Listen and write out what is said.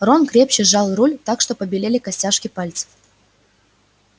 рон крепче сжал руль так что побелели костяшки пальцев